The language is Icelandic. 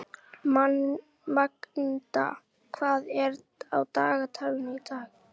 Magda, hvað er á dagatalinu í dag?